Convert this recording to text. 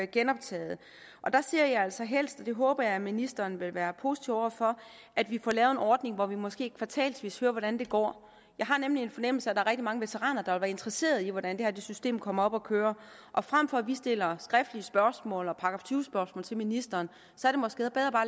genoptaget og der ser jeg altså helst det håber jeg ministeren vil være positiv over for at vi får lavet en ordning hvor vi måske kvartalsvis hører hvordan det går jeg har nemlig en fornemmelse af rigtig mange veteraner der vil være interesseret i hvordan det her system kommer op at køre frem for at vi stiller skriftlige spørgsmål og § tyve spørgsmål til ministeren